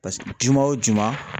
Paseke juma o juma